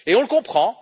Et on le comprend.